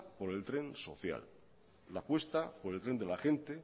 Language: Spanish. por el tren social la apuesta por el tren de la gente